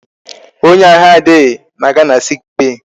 Onye ahụ adịghị na-aga na sick bay.